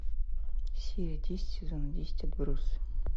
серия десять сезон десять отбросы